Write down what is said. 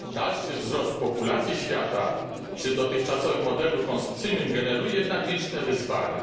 Dalszy wzrost populacji świata przy dotychczasowym modelu konsumpcyjnym generuje jednak liczne wyzwania.